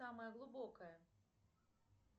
самая глубокая